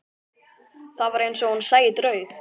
Það var eins og hún sæi draug.